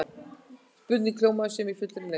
Spurningin hljómaði svona í fullri lengd: